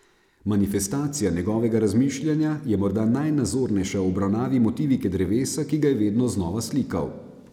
Manifestacija njegovega razmišljanja je morda najnazornejša v obravnavi motivike drevesa, ki ga je vedno znova slikal.